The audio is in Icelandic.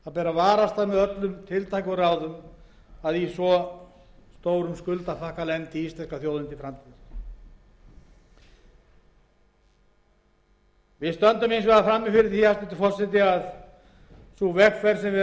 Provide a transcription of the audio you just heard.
varast með öllum tiltækum ráðum að í svo stórum skuldapakka lendi íslenska þjóðin til framtíðar við stöndum hins vegar frammi fyrir því hæstvirtur forseti að sú vegferð sem við nú